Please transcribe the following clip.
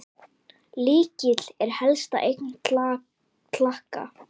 Lykill er helsta eign Klakka.